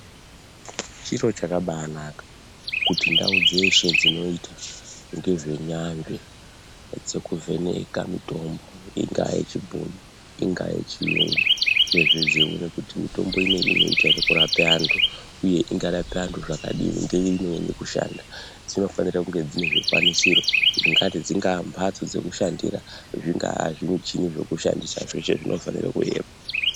Chiro chakabanaka kuti ndau dzeshe dzinoita ngezve nyambe dzekuvheneka mitombo ,ingave yechibhoi ,ingayechiyungu uyezve dzeiona kuti mitombo iyi ingaite ere kurape antu uye kuti ingarape antu zvakadini ngeimwe kushanda uye dzinofanira kunge dzinezvikwanisiro zvingati dzingambatso dzekushandira ,zvingaazvimuchini zvekushandisa zveshe zvofanirwe kuvepo.